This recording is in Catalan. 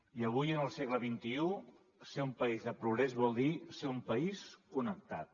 i avui en el segle xxi ser un país de progrés vol dir ser un país connectat